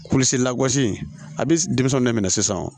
Kululisi langosi a bɛ denmisɛnw de minɛ sisan